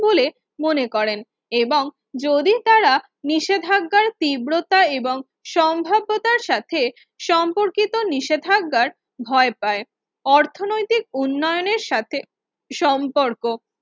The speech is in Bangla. বলে মনে করেন এবং যদি তারা নিষেধাজ্ঞার তীব্রতা এবং সম্ভাব্যতার সাথে সম্পর্কিত নিষেধাজ্ঞার ভয় পায় অর্থনৈতিক উন্নয়নের সাথে সম্পর্ক